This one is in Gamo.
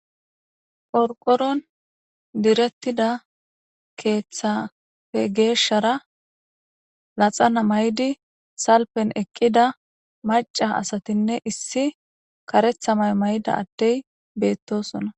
Porqoron direttida keeththafe geeshshara laxana maydi salpen eqqida maca asatinne issi karetha may may'da addey beettosona.